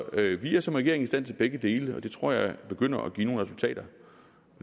vi er som regering i stand til begge dele og det tror jeg begynder at give nogle resultater